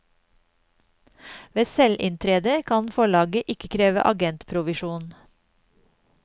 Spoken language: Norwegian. Ved selvinntrede kan forlaget ikke kreve agentprovisjon.